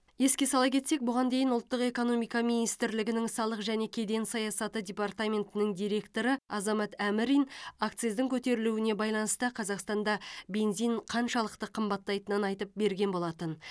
еске сала кетсек бұған дейін ұлттық экономика министрлігінің салық және кеден саясаты департаментінің директоры азамат әмрин акциздің көтерілуіне байланысты қазақстанда бензин қаншалықты қымбаттайтынын айтып берген болатын